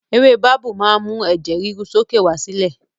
Ewé babú máa ń mú ẹ̀jẹ̀ ríru sókè wá sílẹ̀